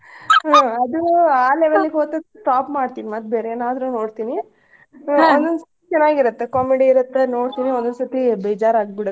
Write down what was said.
ಹ್ಮ್ ಅದೂ ಆ level ಗ್ ಹೋತಂದ್ರ stop ಮಾಡ್ತೀವ್ ಮತ್ ಬೇರ್ ಏನಾದ್ರೂ ನೋಡ್ತಿವಿ ಚನಾಗ್ ಇರುತ್ತೆ comedy ನೋಡ್ತೇನಿ ಒಂದ್ ಒಂದ್ ಸರ್ತಿ ಬೇಜಾರ್ ಆಗ್ಬಿಡುತ್.